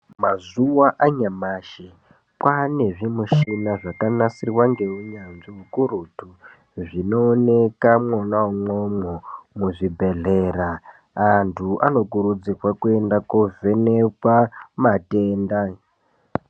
Mazuva anyamashi kwane zvi mishina zvaka nasirwa nge unyanzvi ukurutu zvino oneka mwona mwomwo mu zvibhedhlera antu ano kurudzirwe kuenda ko vhenekwa matenda.